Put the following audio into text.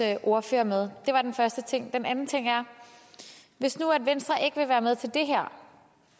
ordfører med det var den første ting den anden ting er hvis nu venstre ikke vil være med til det her